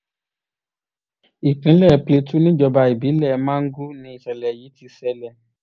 ìpínlẹ̀ plateau níjọba ìbílẹ̀ mangu ni ìṣẹ̀lẹ̀ yìí ti ṣẹlẹ̀